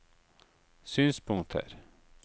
synspunkter